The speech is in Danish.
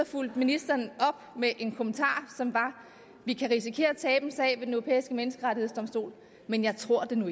fulgte ministeren op med en kommentar som var vi kan risikere at tabe en sag ved den europæiske menneskerettighedsdomstol men jeg tror det nu